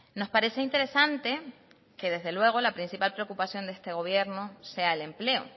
nos parece interesante que desde luego la principal preocupación de este gobierno sea el empleo